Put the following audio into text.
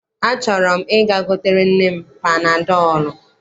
Achọrọ m ị̀ga gotere nne m panadọọlụ.